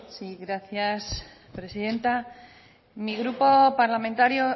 sí gracias presidenta mi grupo parlamentario